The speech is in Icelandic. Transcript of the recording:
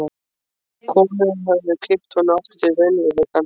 Konurnar höfðu kippt honum aftur til raunveruleikans.